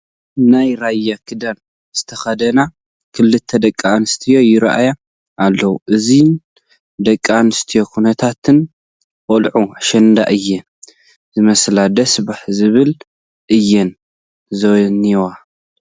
ናይ ራያ ክዳን ዝተኸደና ክልተ ደቂ ኣንስትዮ ይርአያ ኣለዋ፡፡ እዘን ደቂ ኣንስትዮ ኩነታተን ቆልዑ ኣሸንዳ እየን ዝመስላ፡፡ ደስ ዝብላ እየን ዝኔዋ፡፡